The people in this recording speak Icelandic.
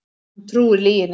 Hann trúir lyginni.